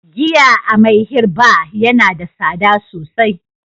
giya a "Mayhi bar" Yana da sada sosai.